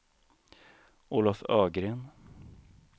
Olof Ögren